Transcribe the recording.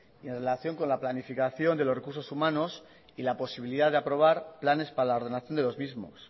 y en relación con la planificación de los recursos humanos y la posibilidad de aprobar planes para la ordenación de los mismos